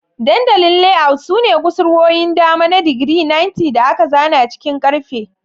Dandalin Layout sune kusurwoyin dama na digiri 90 da aka zana cikin karfe.